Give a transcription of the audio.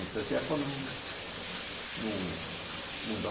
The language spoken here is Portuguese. não sei o que. Ela falou não, não não dá.